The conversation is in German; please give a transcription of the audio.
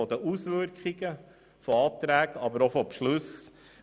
Es geht um die Auswirkungen von Anträgen, aber auch von Beschlüssen.